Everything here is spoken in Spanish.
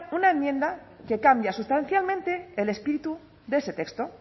una enmienda que cambia sustancialmente el espíritu de ese texto